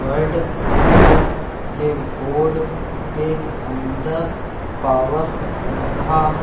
white colour के board के अंदर पावर लिखा--